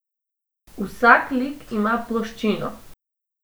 Vsak lik ima ploščino.